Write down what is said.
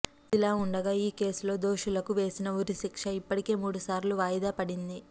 ఇదిలావుండగా ఈ కేసులో దోషులకు వేసిన ఉరిశిక్ష ఇప్పటికే మూడుసార్లు వాయిదాపడింది